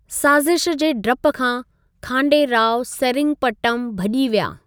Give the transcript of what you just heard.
साज़िशु जे डपु खां, खांडे राव सेरिंगपट्टम भजी॒ विया।